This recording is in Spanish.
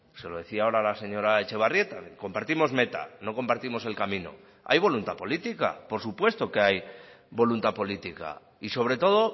se lo decía ahora a la señora etxebarrieta compartimos meta no compartimos el camino hay voluntad política por supuesto que hay voluntad política y sobre todo